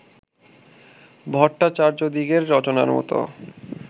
ভট্টাচার্যদিগের রচনার মত